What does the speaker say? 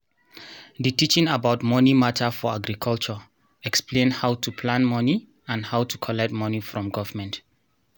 the teaching about money matter for agriculture explain how to plan money and how to collect money form government